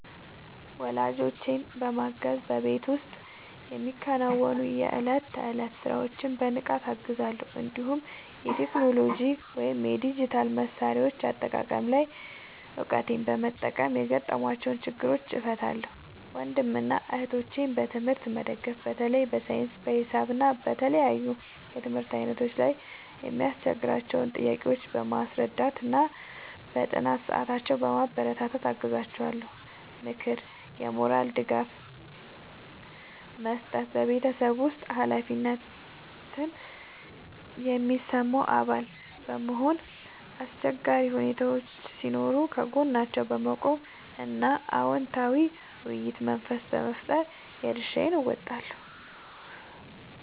ወላጆቼን ማገዝ በቤት ውስጥ የሚከናወኑ የዕለት ተዕለት ሥራዎችን በንቃት እገዛለሁ፤ እንዲሁም የቴክኖሎጂ ወይም የዲጂታል መሣሪያዎች አጠቃቀም ላይ እውቀቴን በመጠቀም የገጠሟቸውን ችግሮች እፈታላቸዋለሁ። ወንድምና እህቶቼን በትምህርት መደገፍ በተለይ በሳይንስ፣ በሂሳብ እና በተለያዩ የትምህርት ዓይነቶች ላይ የሚያስቸግሯቸውን ጥያቄዎች በማስረዳትና በጥናት ሰዓታቸው በማበረታታት አግዛቸዋለሁ። ምክርና የሞራል ድጋፍ መስጠት በቤተሰብ ውስጥ ኃላፊነት የሚሰማው አባል በመሆን፣ አስቸጋሪ ሁኔታዎች ሲኖሩ ከጎናቸው በመቆም እና አዎንታዊ የውይይት መንፈስ በመፍጠር የድርሻዬን እወጣለሁ።